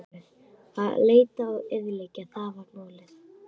Að leita og eyðileggja: það var málið.